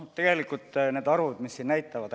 Tegelikult need arvud, mis siin on esitatud ...